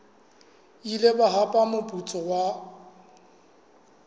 ile ba hapa moputso wa